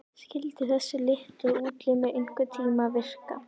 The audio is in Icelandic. Skyldu þessir litlu útlimir einhverntíma virka?